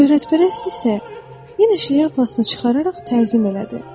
Şöhrətpərəst isə yenə şlyapasını çıxararaq təzim elədi.